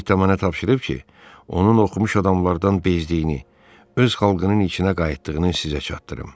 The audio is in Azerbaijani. Zidamanə tapşırıb ki, onun oxumuş adamlardan bezdiyini, öz xalqının içinə qayıtdığını sizə çatdırım.